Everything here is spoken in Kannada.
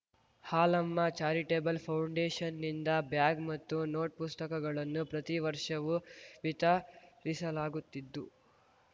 ಹಾಲಮ್ಮ ಚಾರಿಟೆಬಲ್‌ ಫೌಂಡೆಷನ್‌ನಿಂದ ಬ್ಯಾಗ್‌ ಮತ್ತು ನೋಟ್‌ಪುಸ್ತಕಗಳನ್ನು ಪ್ರತಿ ವರ್ಷವೂ ವಿತರಿಸಲಾಗುತ್ತಿದ್ದು